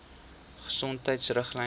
gesondheidriglyne